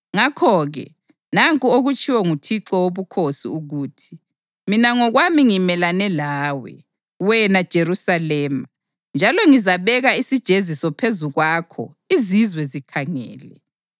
Ngakho-ke nanku okutshiwo nguThixo Wobukhosi ukuthi: Mina ngokwami ngimelane lawe, wena Jerusalema, njalo ngizabeka isijeziso phezu kwakho izizwe zikhangele.